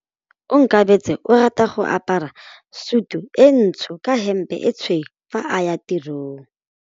Onkabetse o rata go apara sutu e ntsho ka hempe e tshweu fa a ya tirong.